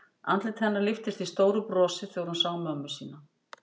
Andlit hennar lyftist í stóru brosi þegar hún sá mömmu sína.